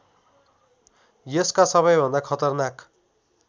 यसका सबैभन्दा खतरनाक